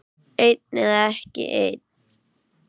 Einn eða ekki einn.